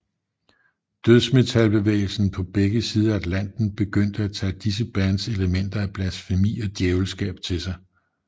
Dødsmetalbevægelsen på begge sider af Atlanten begyndte at tage disse bands elementer af blasfemi og djævelskab til sig